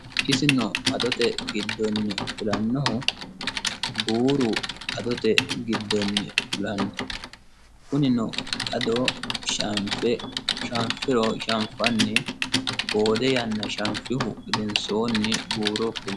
Isino adote giddoni fulanoho buuru adote giddonni fullano kunino ado shanfe, shanfanni boode yanna shafihu gedensanni buuro fultano.